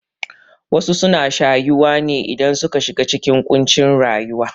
Wasu suna shayuwa ne idan suka shiga cikin ƙuncin rayuwa